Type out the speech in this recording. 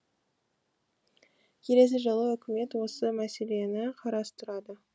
келесі жылы үкімет осы мәселені қарастырады